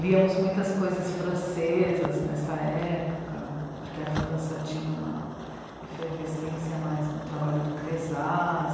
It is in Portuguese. Liamos muitas coisas francesas nessa época, porque a França tinha uma efervescência mais do trabalho do Cresas.